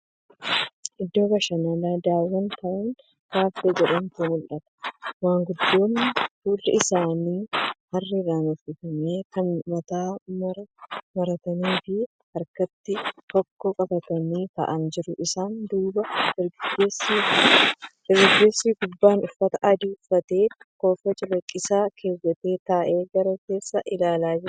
Iddoo bashananaa Daawun taawun kaaffee jedhamutu mul'ata. Maanguddoon fuulli isaanii aarriin uffifame kan mataatti maraa marataniifi harkatti hokkoo qabatan taa'aanii jiru. Isaan duuba dargaggeessi gubbaan uffata adii uffateefi kofoo cuquliisa keewwate taa'ee gara keessaa ilaalaa jira.